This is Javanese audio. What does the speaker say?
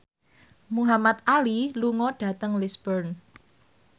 Muhamad Ali lunga dhateng Lisburn